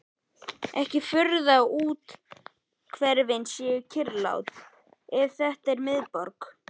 Ekki furða að úthverfin séu kyrrlát ef þetta er miðborg